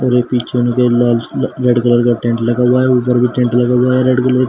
और पीछे लाल कलर का टेंट लगा हुआ है ऊपर भी टेंट लगा हुआ है रेड कलर का।